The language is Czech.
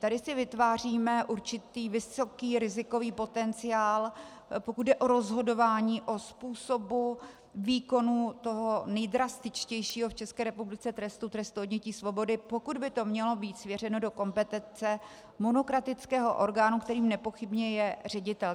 Tady si vytváříme určitý vysoký rizikový potenciál, pokud jde o rozhodování o způsobu výkonu toho nejdrastičtějšího v České republice trestu, trestu odnětí svobody, pokud by to mělo být svěřeno do kompetence monokratického orgánu, kterým nepochybně je ředitel.